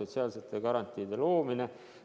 sotsiaalsete garantiide loomiseks.